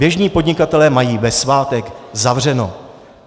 Běžní podnikatelé mají ve svátek zavřeno.